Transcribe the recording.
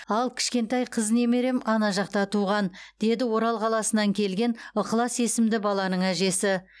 ал кішкентай қыз немерем ана жақта туған деді орал қаласынан келген ықылас есімді баланың әжесі